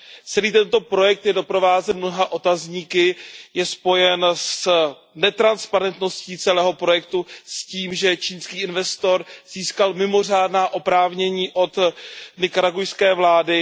Celý tento projekt je doprovázen mnoha otazníky, je spojen s netransparentností celého projektu, s tím, že čínský investor získal mimořádná oprávnění od nikaragujské vlády.